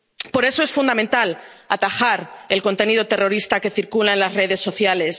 Por eso es fundamental atajar el contenido terrorista que circula en las redes sociales.